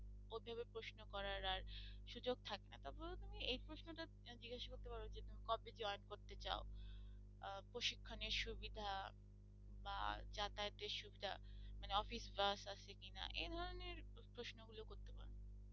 প্রশিক্ষণের সুবিধা বা যাতায়াতের সুবিধা মানে office bus আছে কিনা এ ধরনের প্রশ্ন গুলো করতে পারো।